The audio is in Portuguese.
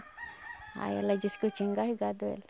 Aí ela disse que eu tinha engasgado ela.